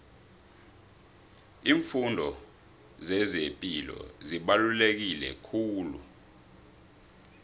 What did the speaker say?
iimfundo zezepilo zibaluleke kakhulu